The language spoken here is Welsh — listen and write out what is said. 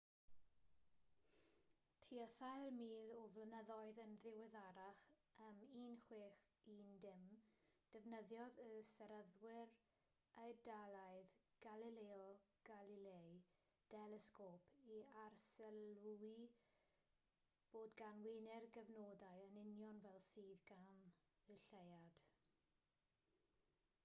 tua thair mil o flynyddoedd yn ddiweddarach ym 1610 defnyddiodd y seryddwr eidalaidd galileo galilei delesgôp i arsylwi bod gan wener gyfnodau yn union fel sydd gan y lleuad